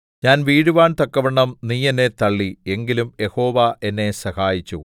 ഞാൻ വീഴുവാൻ തക്കവണ്ണം നീ എന്നെ തള്ളി എങ്കിലും യഹോവ എന്നെ സഹായിച്ചു